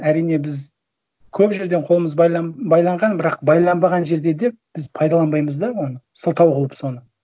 әрине біз көп жерден қолымыз байланған бірақ байланбаған жерде де біз пайдаланбаймыз да оны сылтау қылып соны